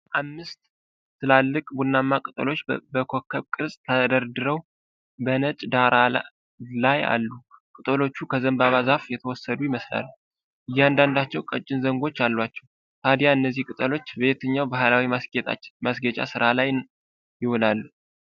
አምስት ትላልቅ ቡናማ ቅጠሎች በኮከብ ቅርጽ ተደረድረው በነጭ ዳራ ላይ አሉ። ቅጠሎቹ ከዘንባባ ዛፍ የተወሰዱ ይመስላሉ፤ እያንዳንዳቸው ቀጭን ዘንጎች አሏቸው። ታዲያ እነዚህ ቅጠሎች በየትኛው ባሕላዊ ማስጌጫ ሥራ ላይ ይውላሉ?